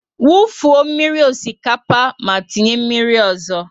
Wu fuo mmírí osikapa ma tinye mmírí ọzọ!